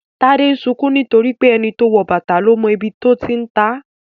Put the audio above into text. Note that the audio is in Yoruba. Tade ń sunkún nítorí pé "ẹni tó wọ bàtà ló mọ ibi tó ti ń ta á "